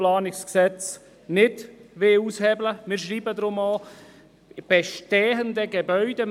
Deshalb schreiben wir auch von bestehenden Gebäuden.